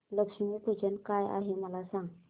लक्ष्मी पूजन काय आहे मला सांग